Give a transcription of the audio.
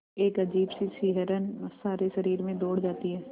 एक अजीब सी सिहरन सारे शरीर में दौड़ जाती है